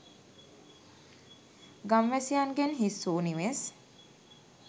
ගම්වැසියන්ගෙන් හිස් වූ නිවෙස්